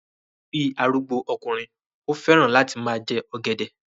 Bí arúgbó okùnrin, ó fẹ́ràn láti máa jẹ ọ̀gẹ̀dẹ̀